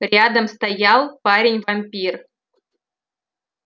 рядом стоял парень-вампир